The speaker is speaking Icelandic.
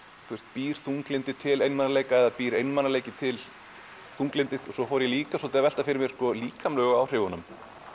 býr þunglyndi til einmanaleika eða býr einmanaleiki til þunglyndi svo fór ég líka að velta fyrir mér líkamlegu áhrifunum